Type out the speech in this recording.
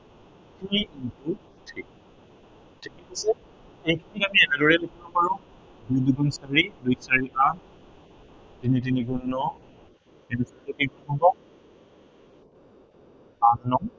two into three এইটো আমি এনেদৰে লিখিব পাৰো। দুই দুগুণ চাৰি, দুই চাৰিগুণ আঠ তিনি তিনি গুণ ন, তিনি চাৰি গুণ বাৰ আঠ নং